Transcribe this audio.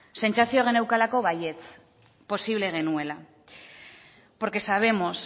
sentsazioa geneukalako baietz posible genuela porque sabemos